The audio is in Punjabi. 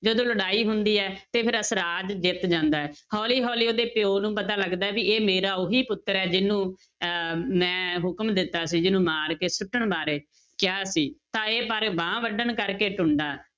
ਜਦੋਂ ਲੜਾਈ ਹੁੰਦੀ ਹੈ ਤੇ ਫਿਰ ਅਸਰਾਜ ਜਿੱਤ ਜਾਂਦਾ ਹੈ, ਹੌਲੀ ਹੌਲੀ ਉਹਦੇ ਪਿਓ ਨੂੰ ਪਤਾ ਲੱਗਦਾ ਹੈ ਵੀ ਇਹ ਮੇਰਾ ਉਹੀ ਪੁੱਤਰ ਹੈ ਜਿਹਨੂੰ ਅਹ ਮੈਂ ਹੁਕਮ ਦਿੱਤਾ ਸੀ ਜਿਹਨੂੰ ਮਾਰ ਕੇ ਸੁੱਟਣ ਬਾਰੇ ਕਿਹਾ ਸੀ, ਤਾਂ ਇਹ ਪਰ ਬਾਂਹ ਵੱਢਣ ਕਰਕੇ ਟੁੰਡਾ